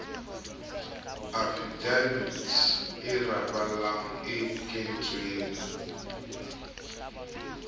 afidavite e arabang e kentsweng